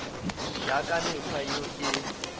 ya ka mekgwa yeo e